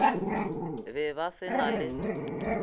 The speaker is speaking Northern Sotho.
be ba se na le